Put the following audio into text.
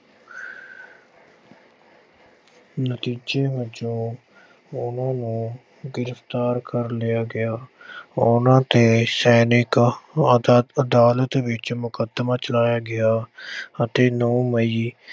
ਨਤੀਜੇ ਵਜੋਂ ਉਨ੍ਹਾਂ ਨੂੰ ਗ੍ਰਿਫ਼ਤਾਰ ਕਰ ਲਿਆ ਗਿਆ। ਉਨ੍ਹਾਂ 'ਤੇ ਸੈਨਿਕ ਅਦਾਤ ਅਹ ਅਦਾਲਤ ਵਿੱਚ ਮੁਕੱਦਮਾ ਚਲਾਇਆ ਗਿਆ ਅਤੇ ਨੌਂ ਮਈ